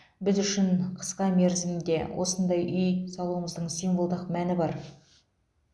біз үшін қысқа мерзімде осындай үй салумыздың символдық мәні бар